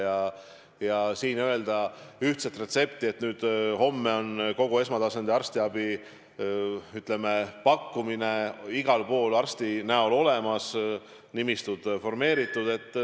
Siin öelda ühtset retsepti, et homme on kogu esmatasandi arstiabi pakkumine igal pool arsti näol olemas, nimistud formeeritud.